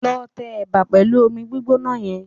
Lọ tẹ ẹ̀bà pẹ̀lú omi gbígbóná yẹn